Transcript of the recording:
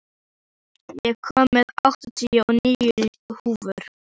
Hamar, ég kom með áttatíu og níu húfur!